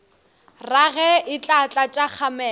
rage e tla tlatša kgamelo